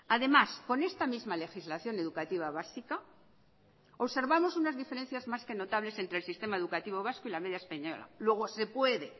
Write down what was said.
además con esta misma legislación educativa básica observamos unas diferencias más que notables entre el sistema educativo vasco y la media española luego se puede